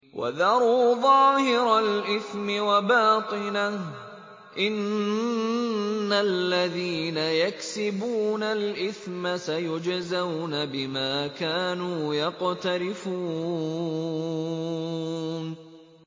وَذَرُوا ظَاهِرَ الْإِثْمِ وَبَاطِنَهُ ۚ إِنَّ الَّذِينَ يَكْسِبُونَ الْإِثْمَ سَيُجْزَوْنَ بِمَا كَانُوا يَقْتَرِفُونَ